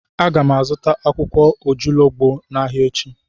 Aga m azụta akwụkwọ ojuologbo n'ahịa echi.